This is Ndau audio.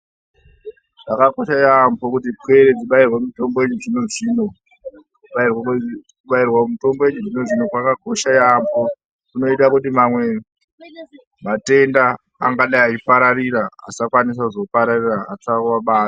Zvaakokosha yaambo kuti pwere dzibairwe mitombo wechizvino - zvino .kuti matenda asapararira . Kubairwa mutombo wechizvino - zvino kwakakosha yaamho kunoita kuti amweni matenda angadai eizopararira asapararira .